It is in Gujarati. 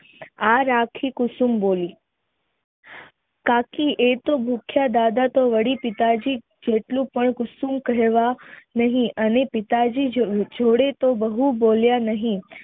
આ રાખી કુસુમ બોલી કાકી એતો ભૂખ્યા દાદાતો વળી પિતાજી જેટલું જેટલું અને પિતાજી જોડે તો બહુ બોલ્યા નહિ